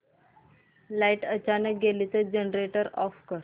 light अचानक गेली तर जनरेटर ऑफ कर